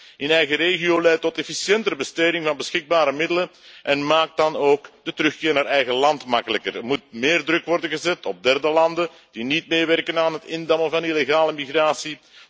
Opvang in eigen regio leidt tot efficiëntere besteding van beschikbare middelen en maakt dan ook de terugkeer naar eigen land makkelijker. Er moet meer druk worden gezet op derde landen die niet meewerken aan het indammen van illegale migratie.